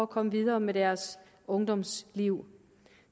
komme videre med deres ungdomsliv